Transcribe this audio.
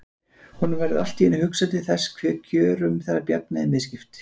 Honum verður allt í einu hugsað til þess hve kjörum þeirra Bjarna er misskipt.